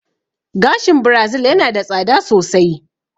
Gashin birazil yana da tsada sosai